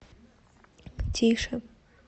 тише